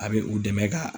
A bɛ u dɛmɛ ka